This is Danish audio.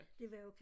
Det var jo